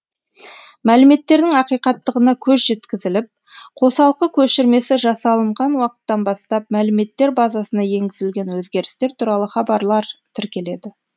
мәліметтердің ақиқаттығына көз жеткізіліп қосалқы көшірмесі жасалынған уақыттан бастап мәліметтер базасына енгізілген өзгерістер туралы хабарлар тіркеледі